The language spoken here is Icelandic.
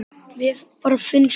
Mér bara finnst það.